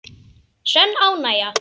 Sönn ánægja.